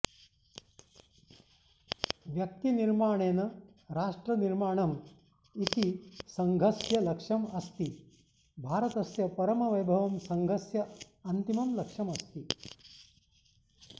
व्यक्ति निर्माणेन राष्ट्र निर्माणम् इति सङ्घस्य लक्ष्यम् अस्ति भारतस्य परमवैभवं सङ्घस्य अन्तिमं लक्ष्यम् अस्ति